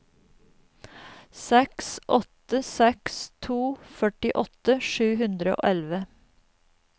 seks åtte seks to førtiåtte sju hundre og elleve